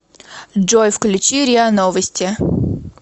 джой включи риа новости